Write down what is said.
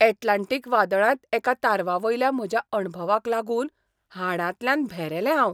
Atlantic वादळांत एका तारवावयल्या म्हज्या अणभवाक लागून हाडांतल्यान भेरेलें हांव.